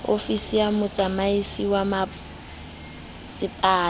ofisi ya motsamaisi wa masepala